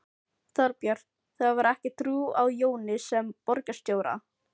Þorbjörn: Þú hefur ekki trú á Jóni sem borgarstjóra?